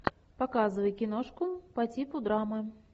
показывай киношку по типу драмы